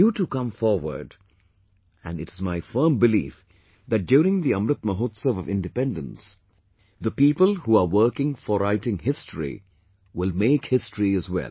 You too come forward and it is my firm belief that during the Amrit Mahotsav of Independence the people who are working for writing history will make history as well